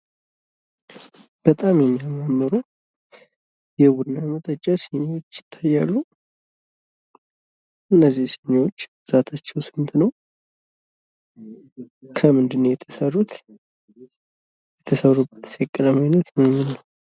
በጣም የሚያማምሩ የቡና መጠጫ ሲኒዎች ይታያሉ። እነዚህ ሲኒዎች ብዛታቸው ስንት ነው? ከምንድነው የተሰሩት? የተሰሩበትስ የቀለም አይነት ምን ምንድነው?